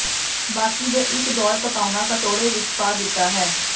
ਬਾਕੀ ਦੇ ਇੱਕ ਦੌਰ ਪਕਾਉਣਾ ਕਟੋਰੇ ਵਿੱਚ ਪਾ ਦਿੱਤਾ ਹੈ